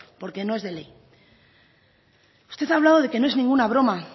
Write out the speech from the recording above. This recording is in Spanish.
porque no es de ley usted ha hablado de que no es ninguna broma